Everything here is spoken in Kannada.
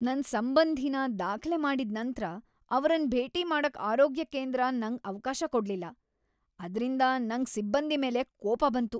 ನನ್ ಸಂಬಂಧಿನ ದಾಖ್ಲೆ ಮಾಡಿದ್ ನಂತ್ರ ಅವರನ್ ಭೇಟಿ ಮಾಡಕ್ ಆರೋಗ್ಯ ಕೇಂದ್ರ ನಂಗ್ ಅವ್ಕಾಶ ಕೊಡ್ಲಿಲ್ಲ. ಅದ್ರಿಂದ ನಂಗ್ ಸಿಬ್ಬಂದಿ ಮೇಲೆ ಕೋಪ ಬಂತು.